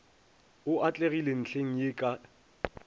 o atlegile ntlheng ye ka